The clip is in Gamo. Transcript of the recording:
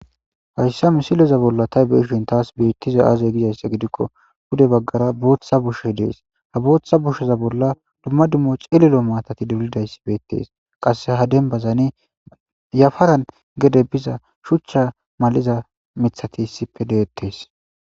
Hayssa misileza bolla tay beishin taas beettiza aazey gizayssa gidikko hude baggara booththa bushe dees ha bootha busheza bolla dumma dummo cililo maatati duulidayssi beettees qasse ha dembazane yafaran gede biza shuchcha mal'iza mithati issippe de'ettes